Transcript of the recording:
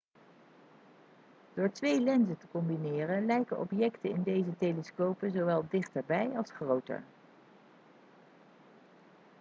door twee lenzen te combineren lijken objecten in deze telescopen zowel dichterbij als groter